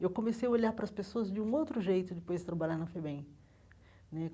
Eu comecei a olhar para as pessoas de um outro jeito depois de trabalhar na FEBEM né.